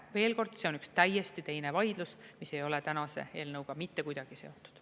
Aga veel kord: see on täiesti teine vaidlus, mis ei ole tänase eelnõuga mitte kuidagi seotud.